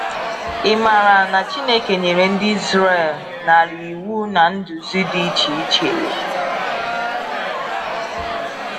Ị maara na Chineke nyere ndị Izrel narị iwu na nduzi dị iche iche.